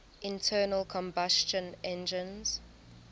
internal combustion engines